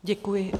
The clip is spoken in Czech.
Děkuji.